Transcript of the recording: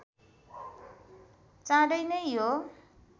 चाँडै नै यो